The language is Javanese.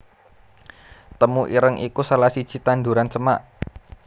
Temu ireng iku salah siji tanduran semak